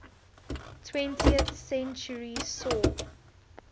twentieth century saw